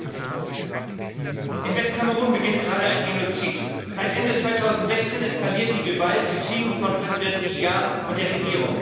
Herr Präsident! In Westkamerun beginnt gerade ein Genozid. Seit Ende 2016 eskaliert die Gewalt, getrieben von Präsident Biya und der Regierung.